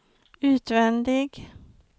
utvändig